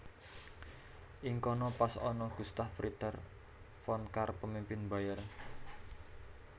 Ing kono pas ana Gustav Ritter von Kahr pemimpin Bayern